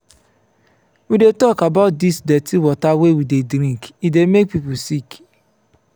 we dey tok about dis dirty water we dey drink e dey make pipo sick.